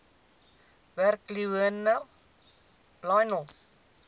werk lionel